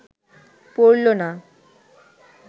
পড়ল না